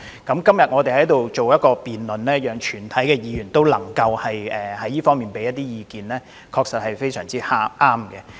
今天的辯論讓全體議員就這方面提出意見，確實非常合適。